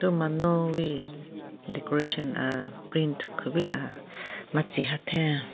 Thu manuwi decoration aaaa print kupila matsi hatheng.